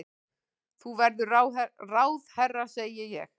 Þú verður ráðherra, segi ég.